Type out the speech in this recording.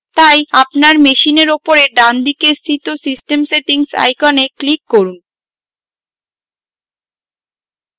তাই আপনার machine উপরে ডানদিকে স্থিত system settings icon click করুন